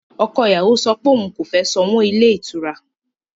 Ọkọ ìyàwó sọ pé òun kò fẹ́ sanwó ilé ìtura